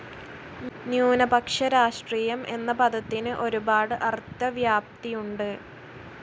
ന്യൂനപക്ഷ രാഷ്ട്രീയം എന്ന പദത്തിന് ഒരുപാട് അർത്ഥവ്യാപ്തിയുണ്ട്.